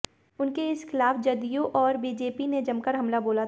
उनके इस कथन के खिलाफ जदयू और बीजेपी ने जमकर हमला बोला था